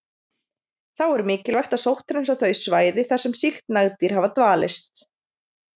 Þá er mikilvægt að sótthreinsa þau svæði þar sem sýkt nagdýr hafa dvalist.